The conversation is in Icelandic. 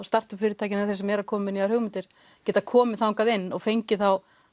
startup fyrirtækin og þeir sem eru að koma með nýjar hugmyndir geta komið þangað inn og fengið þá